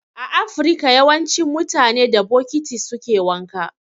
A afirka yawancin mutane da bokiti suke wanka